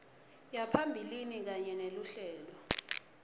yaphambilini kanye neluhlelo